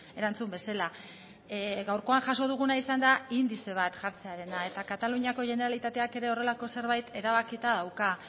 erantzun bezala gaurkoan jaso duguna izan da indize bat jartzearena eta kataluniako generalitateak ere horrelako zerbait erabakita dauka